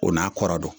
O n'a kɔrɔ don